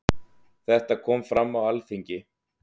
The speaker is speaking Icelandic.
Þetta kom fram á Alþingi.